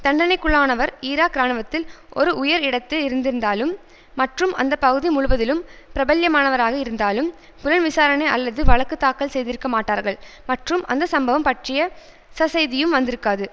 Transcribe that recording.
தண்டனைக்குள்ளானவர் Iraq இராணுவத்தில் ஒரு உயர் இடத்தில் இருந்திருந்தாலும் மற்றும் அந்த பகுதி முழுவதிலும் பிரபல்யமானவராக இருந்தாலும் புலன் விசாரணை அல்லது வழக்கு தாக்கல் செய்திருக்க மாட்டார்கள் மற்றும் அந்த சம்பவம் பற்றிய சசெய்தியும் வந்திருக்காது